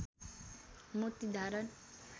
मोती धारण